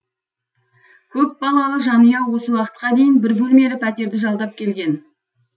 көпбалалы жанұя осы уақытқа дейін бір бөлмелі пәтерді жалдап келген